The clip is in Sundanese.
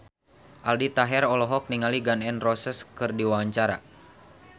Aldi Taher olohok ningali Gun N Roses keur diwawancara